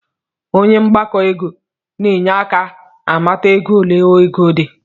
Onye mgbakọ ego na-enye aka amata ego ole ego di